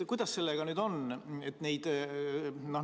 Kuidas sellega nüüd on?